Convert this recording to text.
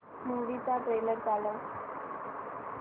movie चा trailer चालव